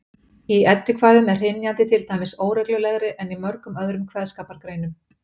Í eddukvæðum er hrynjandi til dæmis óreglulegri en í mörgum öðrum kveðskapargreinum.